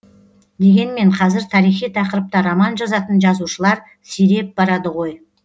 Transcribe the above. дегенмен қазір тарихи тақырыпта роман жазатын жазушылар сиреп барады ғой